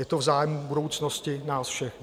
Je to v zájmu budoucnosti nás všech.